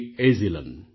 Ezhilan